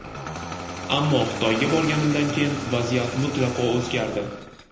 Ammo Xitoyga borganimdan keyin vaziyat mutlaqo o‘zgardi.